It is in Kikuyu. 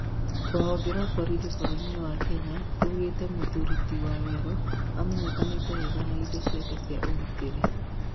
rũhonge rwa borithi bũrũrinĩ wa Kenya, rugĩte mũthuri ti waweru amenyekanite wega na indo ciake cia ũgitĩri